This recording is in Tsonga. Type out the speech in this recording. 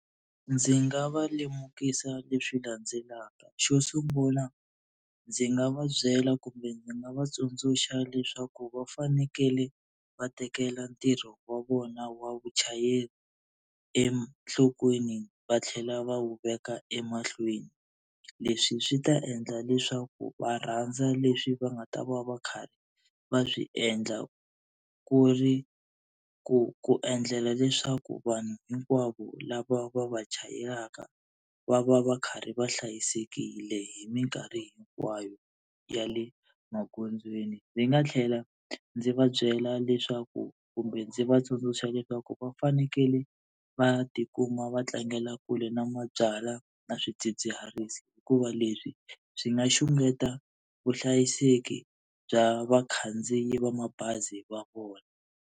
Ndzi nga va lemukisa leswi landzelaka, xo sungula ndzi nga va byela kumbe ndzi nga va tsundzuxa leswaku va fanekele va tekela ntirho wa vona wa vuchayeri enhlokweni va tlhela va wu veka emahlweni. Leswi swi ta endla leswaku va rhandza leswi va nga ta va va karhi va swi endla ku ri ku ku endlela leswaku vanhu hinkwavo lava va va chayelaka va va va karhi va hlayisekile hi minkarhi hinkwayo ya le magondzweni. Ndzi nga tlhela ndzi va byela leswaku kumbe ndzi va tsundzuxa leswaku va fanekele va tikuma va tlangela kule na mabyalwa na swidzidziharisi hikuva leswi swi nga xungeta vuhlayiseki bya vakhandziyi va mabazi va vona.